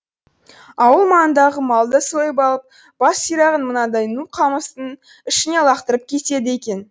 ауыл маңындағы малды сойып алып бас сирағын мынадай ну қамыстың ішіне лақтырып кетеді екен